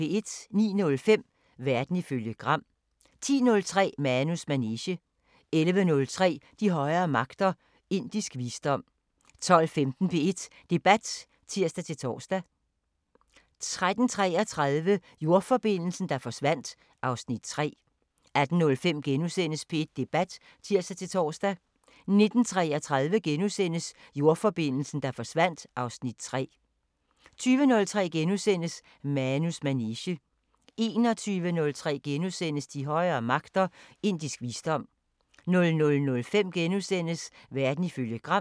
09:05: Verden ifølge Gram 10:03: Manus manege 11:03: De højere magter: Indisk visdom 12:15: P1 Debat (tir-tor) 13:33: Jordforbindelsen, der forsvandt (Afs. 3) 18:05: P1 Debat *(tir-tor) 19:33: Jordforbindelsen, der forsvandt (Afs. 3)* 20:03: Manus manege * 21:03: De højere magter: Indisk visdom * 00:05: Verden ifølge Gram *